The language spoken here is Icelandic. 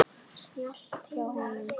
Snjallt hjá honum.